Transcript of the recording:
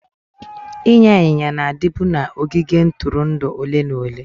Ịnya ịnyịnya na-adịbu na ogige ntụrụndụ ole na ole.